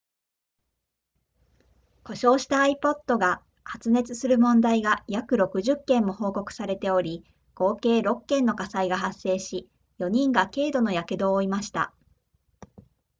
故障した ipod が発熱する問題が約60件も報告されており合計6件の火災が発生し4人が軽度の火傷を負いました